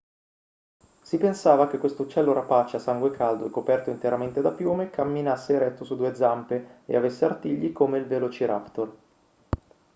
si pensava che questo uccello rapace a sangue caldo e coperto interamente da piume camminasse eretto su due zampe e avesse artigli come il velociraptor